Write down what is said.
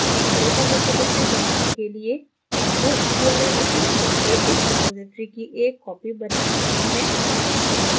एक local repository बनाने के लिए हम we url उपयोग करके इस रिपॉज़िटरी की एक copy बनाने वाले हैं